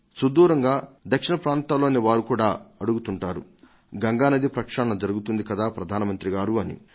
సుదూరంగా దక్షిణ ప్రాంతాల్లోని వారు కూడా అడుగుతుంటారు గంగానది ప్రక్షాళన జరుగుతుంది కదా ప్రధాన మంత్రి గారు అని